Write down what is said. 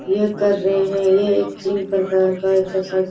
ये कर रहे हैं ये एक जिम प्रकार का एक्सरसाइज --